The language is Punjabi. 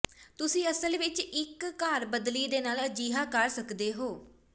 ਤੁਸੀਂ ਅਸਲ ਵਿੱਚ ਇੱਕ ਘਰ ਬਦਲੀ ਦੇ ਨਾਲ ਅਜਿਹਾ ਕਰ ਸਕਦੇ ਹੋ